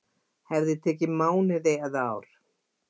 Hefði tekið mánuði eða ár